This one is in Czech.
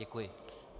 Děkuji.